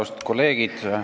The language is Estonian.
Austatud kolleegid!